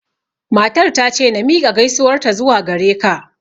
Matar ta ce na miƙa gaisuwar ta zuwa gare ka